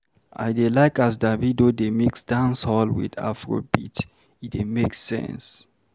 I dey like as Davido dey mix Dancehall wit Afrobeat, e dey make sense.